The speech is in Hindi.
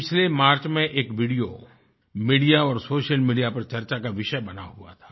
पिछले मार्च में एक videoमीडिया और सोशल मीडिया पर चर्चा का विषय बना हुआ था